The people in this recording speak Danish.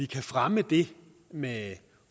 kan fremme det med